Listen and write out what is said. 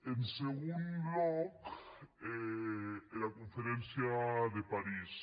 en segon lòc era conferéncia de parís